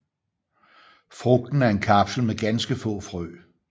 Frugten er en kapsel med ganske få frø